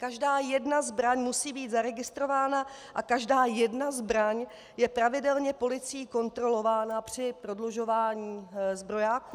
Každá jedna zbraň musí být zaregistrována a každá jedna zbraň je pravidelně policií kontrolována při prodlužování zbrojáku.